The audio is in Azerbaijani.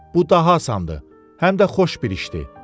Bu daha asandır, həm də xoş bir işdir.